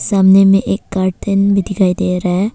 सामने में एक कार्टन भी दिखाई दे रहा है।